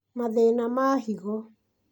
mathĩna ma higo